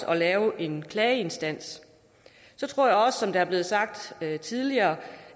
at lave en klageinstans så tror jeg også som det er blevet sagt tidligere